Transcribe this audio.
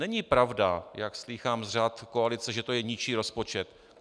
Není pravda, jak slýchám z řad koalice, že to je ničí rozpočet.